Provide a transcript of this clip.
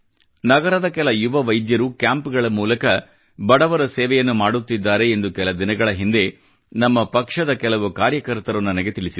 ನಗರದ ಕೆಲ ಯುವ ವೈದ್ಯರು ಕ್ಯಾಂಪ್ ಗಳ ಮೂಲಕ ಬಡವರ ಸೇವೆಯನ್ನು ಮಾಡುತ್ತಿದ್ದಾರೆ ಎಂದು ಕೆಲ ದಿನಗಳ ಹಿಂದೆ ನಮ್ಮ ಪಕ್ಷದ ಕೆಲ ಕಾರ್ಯಕರ್ತರು ನನಗೆ ತಿಳಿಸಿದರು